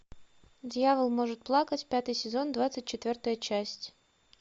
дьявол может плакать пятый сезон двадцать четвертая часть